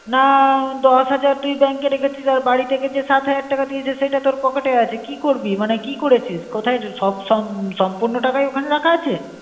না দশ হাজার তুই bank এ রেখে চিস আর বাড়ি ঠিকে জে সাথ হাজার টাকা দিয়ে চেয় সেটা তোর পকেট এ আছে? কী করবি মনে কী করে চিস কোথায় সব সম~ সম্পূর্ণ টাকাই ওখানে রাখা আছে